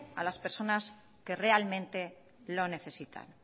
a las personas que realmente lo necesitan